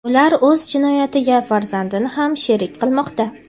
ular o‘z jinoyatiga farzandini ham sherik qilmoqda.